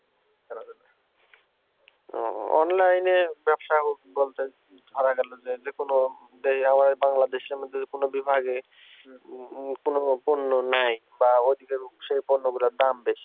ও online এ ব্যবসা বলতে ধরা গেল যে যেকোনো এই আমাদের বাংলাদেশের মধ্যে যেকোনো বিভাগে কোন পণ্য নেয় বা পন্যগুলোর দাম বেশি